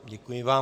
Děkuji vám.